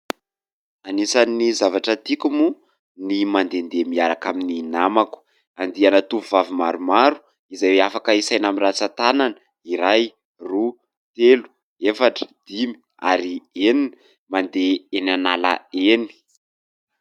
Anisan'ny zavatra tiako moa ny mandendeha miaraka amin'ny namako. Andiana tovovavy maromaro izay afaka isaina amin'ny ratsan-tanana : iray, roa, telo, efatra, dimy ary enina. Mandeha eny an'ala eny.